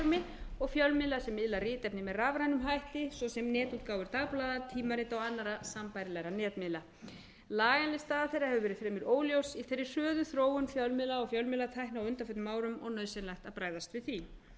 formi og fjölmiðla sem miðla ritefni með rafrænum hætti svo sem netútgáfur dagblaða tímarita og annarra sambærilegra netmiðla lagainnstæða hefur verið fremur óljós í þeirri sömu þróun fjölmiðla og fjölmiðlatækni á undanförnum árum og er nauðsynlegt að bregðast við því